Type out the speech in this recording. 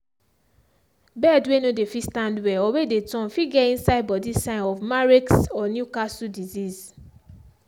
bird way no dey fit stand well or way dey turn fit get inside body sign of marek's or newcastle disease.